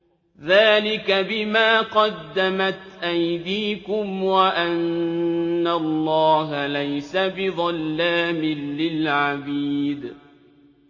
ذَٰلِكَ بِمَا قَدَّمَتْ أَيْدِيكُمْ وَأَنَّ اللَّهَ لَيْسَ بِظَلَّامٍ لِّلْعَبِيدِ